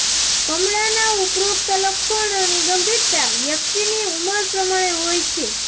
કમળાનાં ઉપરોક્ત લક્ષણોની ગંભીરતા વ્યક્તિની ઉંમર પ્રમાણે હોય છે